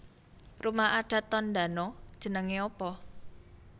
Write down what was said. Rumah adat Tondano jenenge apa